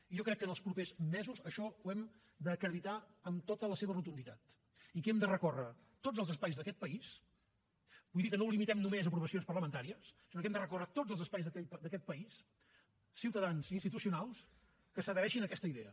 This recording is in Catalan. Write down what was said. i jo crec que en els propers mesos això ho hem d’acreditar amb tota la seva rotunditat i que hem de recórrer tot els espais d’aquests país vull dir que no ho limitem només a aprovacions parlamentàries sinó que hem de recórrer tots els espais d’aquest país ciutadans i institucionals que s’adhereixin a aquesta idea